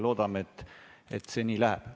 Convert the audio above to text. Loodame, et see nii läheb.